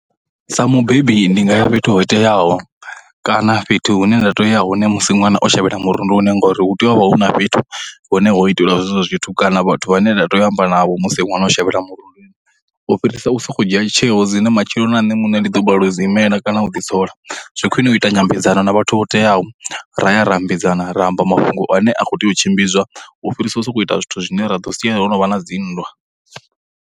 Sa mubebi ndi nga ya fhethu ho teaho, kana fhethu hune nda tea u ya hone musi ṅwana o shavhela murunduni ngori hu teya u vha huna fhethu hune ho itelwa zwe zwo zwithu kana vhathu vhane nda teya u amba navho musi ṅwana shavhela murunduni. U fhirisa u sokou dzhia tsheo dzine matshelo na nṋe muṋe ndi ḓo balelwa u dzi imela kana u ḓi sola. Zwi khwine u ita nyambedzano na vhathu vho teyaho ra ya ra ambedzana ra amba mafhungo ane a khou tea u tshimbidzwa u fhirisa u sokou ita zwithu zwine ra ḓo sia ho no vha na dzinndwa.